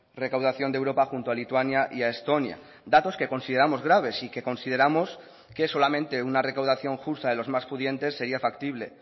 recaudación de europa junto a lituania y a estonia datos que consideramos graves y que consideramos que solamente una recaudación justa de los más pudientes sería factible